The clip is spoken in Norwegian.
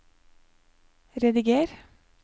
rediger